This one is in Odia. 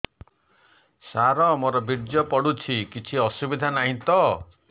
ସାର ମୋର ବୀର୍ଯ୍ୟ ପଡୁଛି କିଛି ଅସୁବିଧା ନାହିଁ ତ